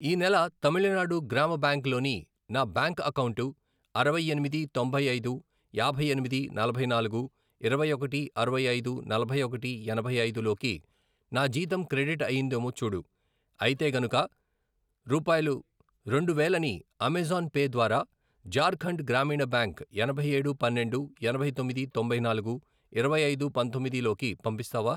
ఈ నెల తమిళనాడు గ్రామ బ్యాంక్ లోని నా బ్యాంక్ అకౌంటు అరవై ఎనిమిది, తొంభై ఐదు, యాభై ఎనిమిది, నలభై నాలుగు, ఇరవై ఒకటి, అరవై ఐదు, నలభై ఒకటి, ఎనభై ఐదు, లోకి నా జీతం క్రెడిట్ అయ్యిందేమో చూడు, అయితే గనుక రూ. రెండు వేలని అమెజాన్ పే ద్వారా ఝార్ఖండ్ గ్రామీణ బ్యాంక్ ఎనభై ఏడు, పన్నెండు, ఎనభై తొమ్మిది, తొంభై నాలుగు, ఇరవై ఐదు, పంతొమ్మిది, లోకి పంపిస్తావా?